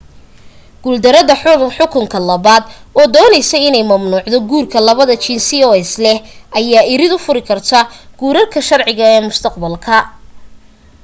guul darada xukunka labaad oo dooneyso inay mamnuucdo guurka labada jinsi oo isleh ayaa irid u furi kartaa guurarka sharci ee mustaqbalka